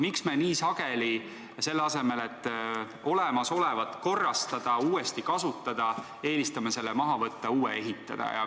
Miks me nii sageli, selle asemel et olemasolevat korrastada, uuesti kasutada, eelistame selle maha võtta ja uue ehitada?